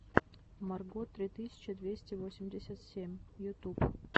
марго три тысячи двести восемьдесят семь ютуб